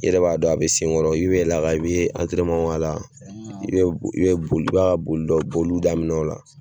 I yɛrɛ b'a dɔn a be sen n kɔrɔ i be antɛrɛnemanw k'ala i be bo i be boli i b'a ka boli dɔ boliw daminɛ o la